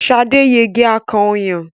Sade yege akàn ọyàn.